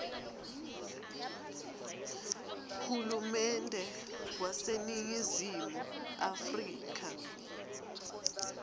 hulumende waseningizimu afrika